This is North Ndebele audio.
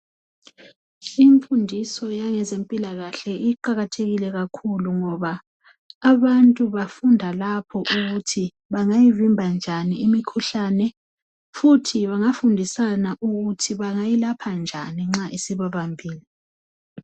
Imfundiso yangezempilakahie iqakathekile kakhulu! Ngoba abantu bafunda lapho ukuthi bangayivimba njani imikhuhlane, futhi bangafundisana ukuthi bangayilapha njani nxa isibabambile.